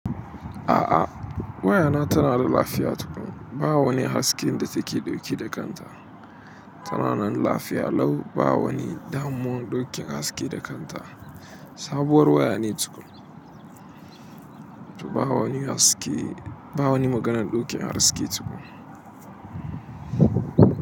A'a, waya na tana da lafiya tukuna. Ba wani hasken da take ɗauke da kanta. Tana nan lafiya lau. Ba wani damuwar ɗauken haske da kanta. Sabuwar waya ne tukum. To ba wani haske, ba wani maganar ɗauke haske tukuna.